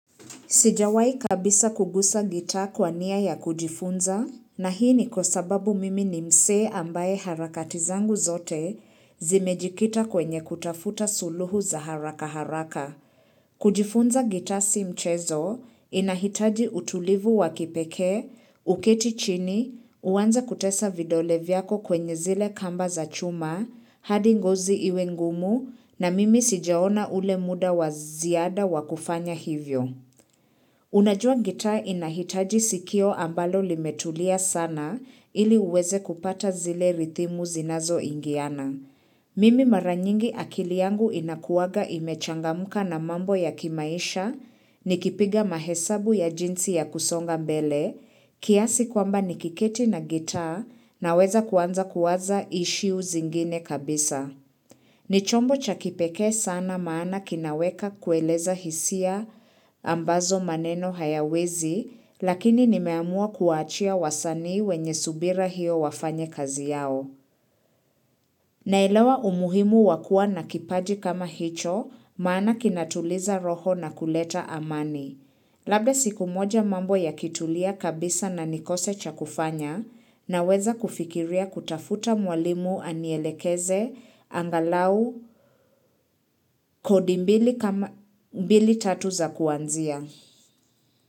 Sijawahi kabisa kuguza gitaa kwani ya kujifunza na hii ni kwa sababu mimi ni mse ambaye harakati zangu zote zimejikita kwenye kutafuta suluhu za haraka haraka. Kujifunza gita si mchezo inahitaji utulivu wa kipekee, uketi chini, uanze kutesa vidole vyako kwenye zile kamba za chuma, hadi ngozi iwe ngumu na mimi sijaona ule muda wa ziada wa kufanya hivyo. Unajua gita inahitaji sikio ambalo limetulia sana ili uweze kupata zile rithimu zinazoingiana. Mimi mara nyingi akili yangu inakuwaga imechangamka na mambo ya kimaisha, nikipiga mahesabu ya jinsi ya kusonga mbele, kiasi kwamba nikiketi na gita naweza kuanza kuwaza ishiu zingine kabisa. Ni chombo cha kipekee sana maana kinaweka kueleza hisia ambazo maneno hayawezi, lakini nimeamua kuwaachia wasanii wenye subira hiyo wafanye kazi yao. Naelewa umuhimu wa kuwa na kipaji kama hicho, maana kinatuliza roho na kuleta amani. Labda siku moja mambo ya kitulia kabisa na nikose cha kufanya naweza kufikiria kutafuta mwalimu anielekeze angalau kodi mbili tatu za kuanzia.